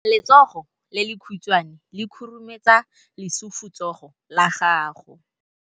Letsogo le lekhutshwane le khurumetsa lesufutsogo la gago.